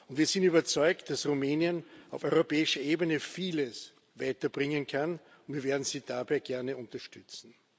Wir sind überzeugt, dass Rumänien auf europäischer Ebene vieles weiterbringen kann, und wir werden Sie dabei gerne unterstützen.